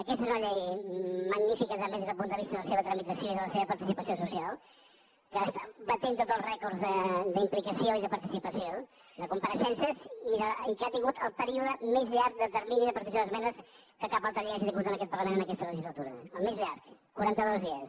aquesta és una llei magnífica també des del punt de vista de la seva tramitació i de la seva participació social que està batent tots els rècords d’implicació i de participació de compareixences i que ha tingut el període més llarg de termini de presentació d’esmenes que cap altra llei hagi tingut en aquest parlament en aquesta legislatura el més llarg quaranta dos dies